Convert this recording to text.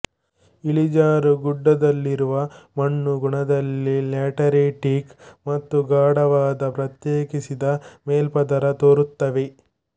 ಇಳಿಜಾರು ಗುಡ್ಡದಲ್ಲಿರುವ ಮಣ್ಣು ಗುಣದಲ್ಲಿ ಲ್ಯಾಟರಿಟಿಕ್ ಮತ್ತು ಗಾಢವಾದ ಪ್ರತ್ಯೇಕಿಸಿದ ಮೇಲ್ಪದರ ತೋರುತ್ತವೆ